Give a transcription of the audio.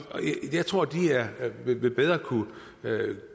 jeg tror de bedre vil